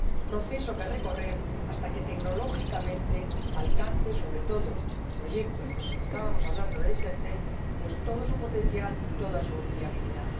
proceso que recorrer hasta que tecnológicamente alcance, sobre todo en proyectos como el que estábamos comentando ―Desertec― todo su potencial y toda su viabilidad.